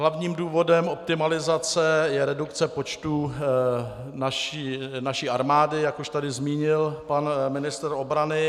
Hlavním důvodem optimalizace je redukce počtu naší armády, jak už tady zmínil pan ministr obrany.